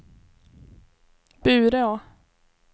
Bureå